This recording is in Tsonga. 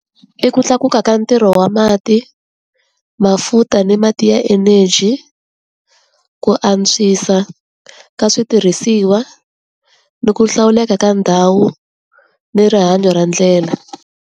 I ku tlakuka ka ntirho wa mati, mafuta ni mati ya energy, ku antswisa ka switirhisiwa, ni ku hlawuleka ka ndhawu, ni rihanyo ra ndlela.